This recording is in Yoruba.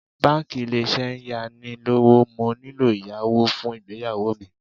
Báńkì Ilé-Iṣẹ́ ń yá ni lówó, mo nílò ìyàwó fún ìgbéyàwó mi.